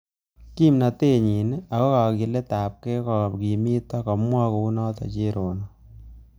Kimnatet nyi aka kakiletabkey kokimito kamwaei kounotok cherono